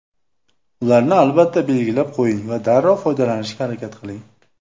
Ularni albatta belgilab qo‘ying va darrov foydalanishga harakat qiling.